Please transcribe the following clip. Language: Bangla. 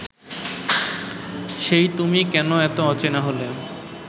সেই তুমি কেন এত অচেনা হলে